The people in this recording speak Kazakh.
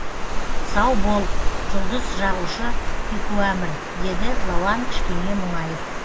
сау бол жұлдыз жағушы пекуамір деді лауан кішкене мұңайып